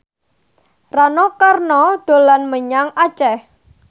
Rano Karno dolan menyang Aceh